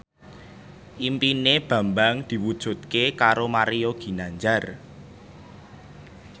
impine Bambang diwujudke karo Mario Ginanjar